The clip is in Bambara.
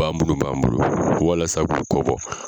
Bagan munnun b'an bolo walasa k'u kɔ bɔ.